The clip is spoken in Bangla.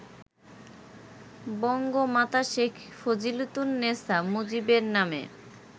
বঙ্গমাতা শেখ ফজিলাতুন্নেসা মুজিবের নামে